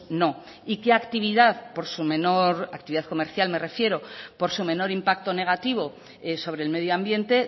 no y qué actividad por su menor actividad comercial me refiero por su menor impacto negativo sobre el medio ambiente